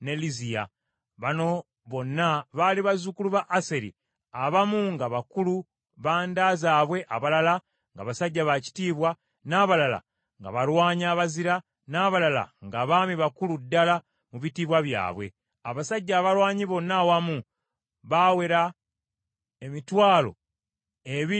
Bano bonna baali bazzukulu ba Aseri, abamu nga bakulu ba nda zaabwe abalala nga basajja baakitiibwa, n’abalala nga balwanyi abazira, n’abalala nga baami bakulu ddala mu bitiibwa byabwe. Abasajja abalwanyi bonna awamu bawera emitwalo ebiri mu kakaaga.